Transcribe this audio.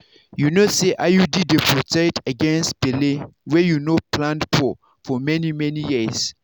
you know say iud dey protect against belle wey you no plan for for many-many years.